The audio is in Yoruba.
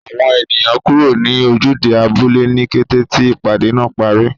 Àwọn ènìyàn kúrò ní ojúde abúlé ní kété tí ìpàdé náà parí